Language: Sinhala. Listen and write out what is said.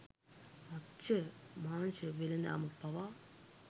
මත්ස්‍ය මාංශ වෙළෙඳාම පවා